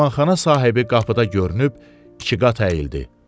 Mehmanxana sahibi qapıda görünüb iki qat əyildi.